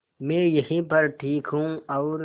मैं यहीं पर ठीक हूँ और